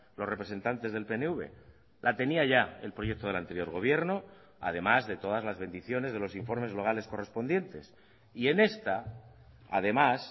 los representantes del pnv la tenía ya el proyecto del anterior gobierno además de todas las bendiciones de los informes locales correspondientes y en esta además